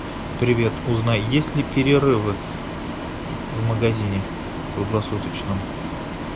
привет узнай есть ли перерывы в магазине круглосуточном